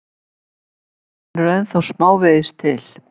Heiðar finnur ennþá smávegis til.